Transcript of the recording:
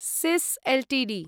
सिस् Ltd